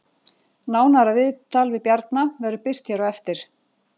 Nánara viðtal við Bjarna verður birt hér á eftir